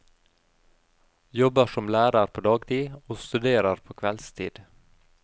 Jobber som lærer på dagtid, og studerer på kveldstid.